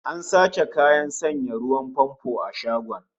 An sace kayan sanya ruwan famfo a shagon